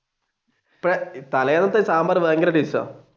തല്ലെന്നത്തെ സാമ്പാർ ഭയങ്കര ടേസ്റ്റ് ആണ്.